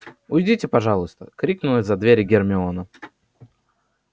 уйдите пожалуйста крикнула из-за двери гермиона